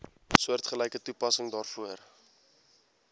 soortgelyke toepassing daarvoor